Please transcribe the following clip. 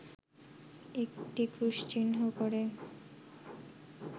একটি ক্রুশচিহ্ন করে